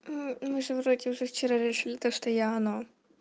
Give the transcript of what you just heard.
мы же вроде уже вчера решили то что я оно